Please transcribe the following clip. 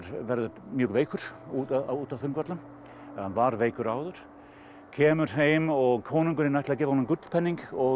verður mjög veikur út á út á Þingvöllum var veikur áður kemur heim og konungurinn ætlaði að gefa honum gullpening og